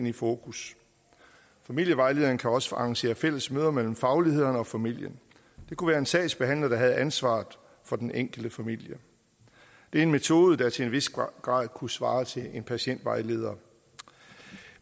i fokus familievejlederen kan også arrangere fælles møder mellem faglighederne og familien det kunne være en sagsbehandler der havde ansvaret for den enkelte familie det er en metode der til en vis grad kunne svare til en patientvejleder